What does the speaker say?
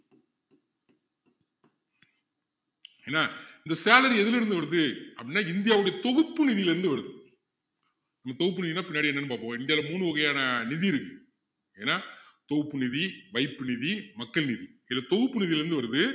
என்ன இந்த salary எதுல இருந்து வருது அப்படின்னா இந்தியாவுடைய தொகுப்பு நிதியில இருந்து வருது இந்த தொகுப்பு நிதின்னா என்னதுன்னா பின்னாடி என்னன்னு பாப்போம் இந்தியாவுல மூன்று வகையான நிதி இருக்குது என்ன தொகுப்பு நிதி வைப்பு நிதி மக்கள் நிதி இதுல தொகுப்பு நிதியில இருந்து வருது